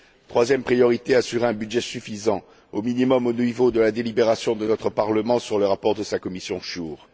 Troisième priorité assurer un budget suffisant au minimum au niveau de la délibération de notre Parlement sur le rapport de sa commission SURE.